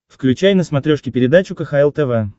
включай на смотрешке передачу кхл тв